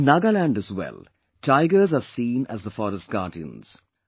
In Nagaland as well, tigers are seen as the forest guardians